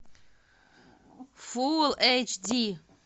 фул эйч ди